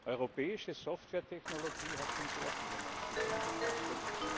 Europäische Softwaretechnologie hat schon sehr viele Menschenleben gekostet.